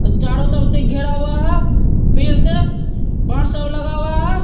चारों तरफ से घेरा हुआ है। पेड़ ते बाहर सब लगा हुआ है।